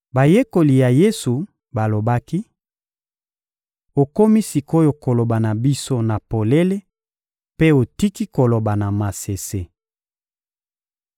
Bayekoli ya Yesu balobaki: — Okomi sik’oyo koloba na biso na polele mpe otiki koloba na masese!